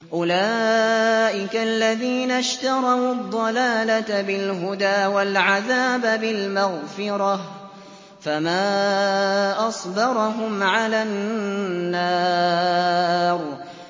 أُولَٰئِكَ الَّذِينَ اشْتَرَوُا الضَّلَالَةَ بِالْهُدَىٰ وَالْعَذَابَ بِالْمَغْفِرَةِ ۚ فَمَا أَصْبَرَهُمْ عَلَى النَّارِ